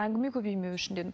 әңгіме көбеймеуі үшін дедім